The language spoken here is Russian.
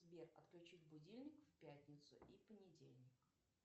сбер отключить будильник в пятницу и понедельник